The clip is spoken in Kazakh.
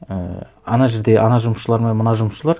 і ана жерде ана жұмысшылар мен мына жұмысшылар